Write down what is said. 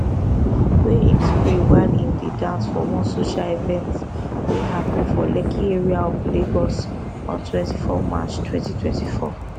wey im spray while im dey dance for one social event wey happun for lekki area of lagos on 24 march 2024